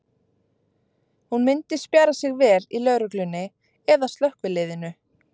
Hún myndi spjara sig vel í lögreglunni eða slökkviliðinu.